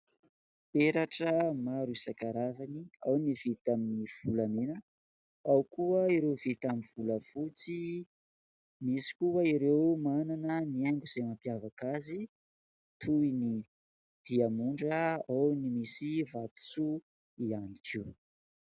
Peratra maro isan-karazany : ao ny vita amin'ny volamena, ao koa ireo vita amin'ny volafotsy, misy koa ireo manana ny haingo izay mampiavaka azy toy ny diamondra, ao ny misy vatosoa ihany koa.